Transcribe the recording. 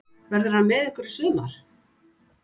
Verður hann með ykkur í sumar?